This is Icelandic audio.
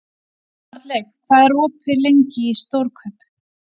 Arnleif, hvað er lengi opið í Stórkaup?